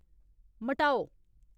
मटाओ